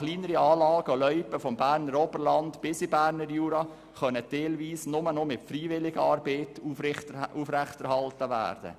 Kleinere Anlagen und Loipen vom Berner Oberland bis in den Berner Jura können teilweise nur noch mit Freiwilligenarbeit aufrechterhalten werden.